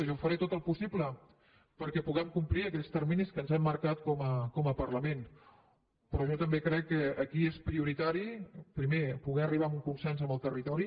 jo faré tot el possible perquè puguem complir aquells terminis que ens hem marcat com a parlament però jo també crec que aquí és prioritari primer poder arribar a un consens amb el territori